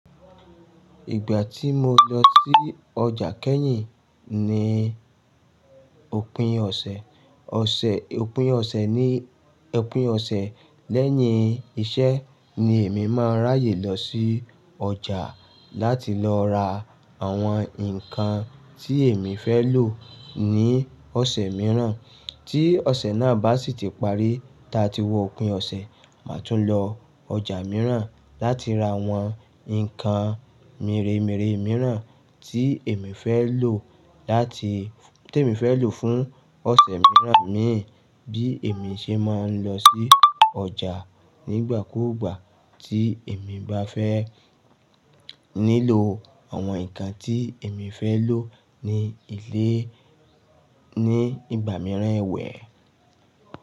Ìgbà tí mo lọ sí ọjà kẹ́yìn ní òpin ọ̀sẹ̀, ọ̀sẹ̀ òpin ọ̀sẹ̀ ní opín ọ̀sẹ̀ lẹ́yìn iṣẹ́ ni èmi máa ń ráyè lọ sí ọjà láti lọ ra àwọn nǹkan tí èmi fẹ́ lò ní ọ̀sẹ̀ mìíràn. Tí ọ̀sẹ̀ náà bá sì ti parí, ta tí wọ̀pin ọ̀sẹ̀, màa tún lọ ọjà mìíràn láti ra àwọn nǹkan mèremere mìíràn tí èmi fẹ́ lò láti tí èmi fẹ́ lò fún ọ̀sẹ̀ mìíràn mi bí èmi ṣe máa ń lọ sí ọjà nígbà kúùgbà tí èmi bá fẹ́ nílò àwọn nǹkan tí èmi fẹ́ lò ní ilé ní ìgbà mìíràn ẹwẹ̀